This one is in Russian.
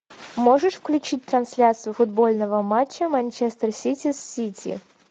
можешь включить трансляцию футбольного матча манчестер сити с сити